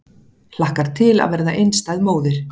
Hlakkar til að verða einstæð móðir